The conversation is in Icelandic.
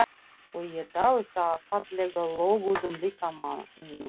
Og ég dáist að fallega löguðum líkama mínum.